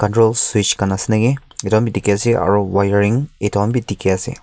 gros fish khan ase niki eta matik ase wiring etu khan bhi dekhi ase.